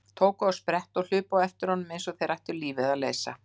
Tóku á sprett og hlupu á eftir honum eins og þeir ættu lífið að leysa.